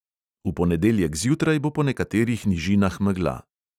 V ponedeljek zjutraj bo po nekaterih nižinah megla.